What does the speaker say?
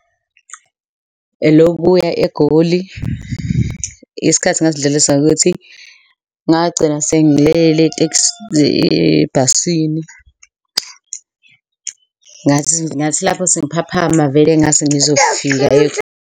Elokubuya eGoli. Isikhathi ngasidlulisa ngokuthi ngagcina sengilele ebhasini, ngathi lapho sengiphaphama vele ngase ngizofika vele.